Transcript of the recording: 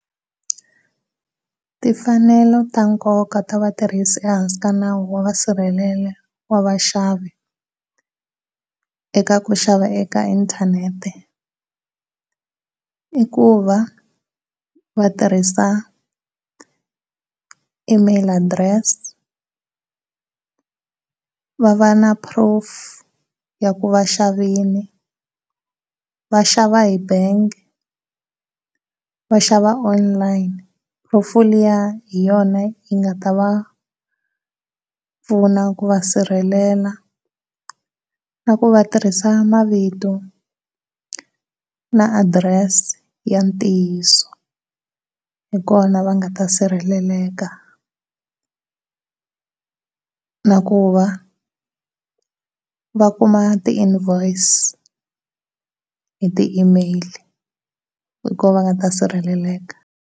Timfanelo ta nkoka ta vatirhisi ehansi ka nawu wa va sirhelela wa va xavi eka ku xava eka inthanethe, munhu i ku va va tirhisa Email address va va na proof ya ku va xavile va xava hi bangi va xava online. Proof liya hi yona yi nga ta va pfuna ku va sirhelela na ku va tirhisa mavito na address ya ntiyiso hi kona va nga ta sirheleleka na ku va va kuma ti invoice hi ti Email hi kona va nga ta sirheleleka.